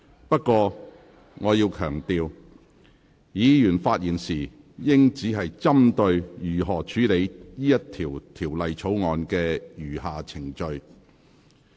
不過，我要強調，議員發言時應針對如何處理《條例草案》的餘下程序。